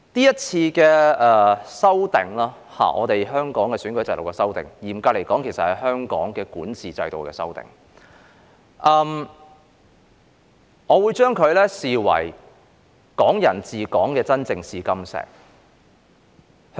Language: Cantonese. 今次有關香港選舉制度的修訂，嚴格來說，其實是香港管治制度的修訂，我會視之為"港人治港"的真正試金石。